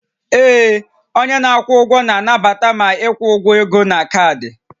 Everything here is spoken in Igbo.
Ee, onye na-akwụ ụgwọ na-anabata ma ịkwụ ụgwọ ego na kaadị